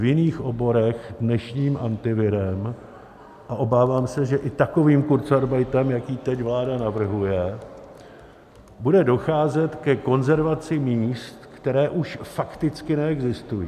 V jiných oborech dnešním Antivirem, a obávám se, že i takovým kurzarbeitem, jaký teď vláda navrhuje, bude docházet ke konzervaci míst, která už fakticky neexistují.